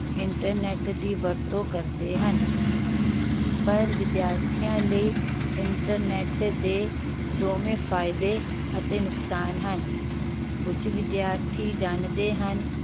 internet ਦੀ ਵਰਤੋਂ ਕਰਦੇ ਹਨ ਪਰ ਵਿਦਿਆਰਥੀਆਂ ਲਈ internet ਦੇ ਦੋਵੇਂ ਫਾਇਦੇ ਅਤੇ ਨੁਕਸਾਨ ਹਨ। ਕੁਝ ਵਿਧਿਆਰਥੀ ਜਾਣਦੇ ਹਨ